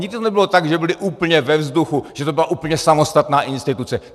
Nikdy to nebylo tak, že byly úplně ve vzduchu, že to byla úplně samostatná instituce.